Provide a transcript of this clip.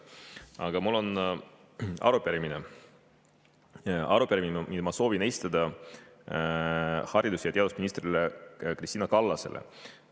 Aga mul on arupärimine, mille ma soovin esitada haridus- ja teadusminister Kristina Kallasele.